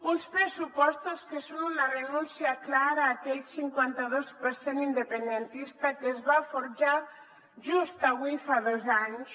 uns pressupostos que són una renúncia clara a aquell cinquanta dos per cent independentista que es va forjar just avui fa dos anys